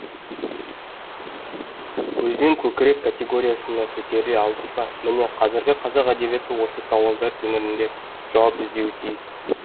көзден көкірек категориясына көтеріле алдық па міне қазіргі қазақ әдебиеті осы сауалдар төңірегінде жауап іздеуі тиіс